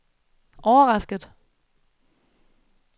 overrasket